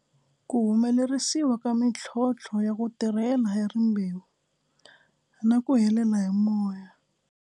Ku humelerisiwa ka mintlhontlho ya ku tirhela hi rimbewu na ku helela hi moya.